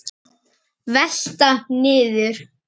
Velta niður.